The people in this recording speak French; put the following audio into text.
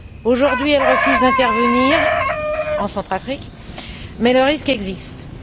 Aujourd'hui, elle refuse d'intervenir en Centrafrique mais le risque demeure.